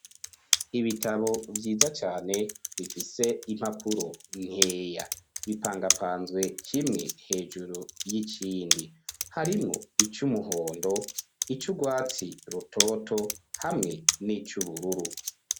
ibitabo vyiza cane bifise impapuro nkeya bipangapanzwe kimwe hejuru y'ikindi harimwo ic, umuhondo ic'urwatsi rutoto hamwe n'ic'ubururu